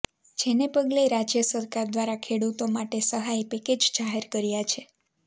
જેને પગલે રાજ્ય સરકાર દ્વારા ખેડૂતો માટે સહાય પેકેજ જાહેર કર્યા છે